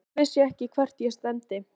Sjálf vissi ég ekkert hvert ég stefndi.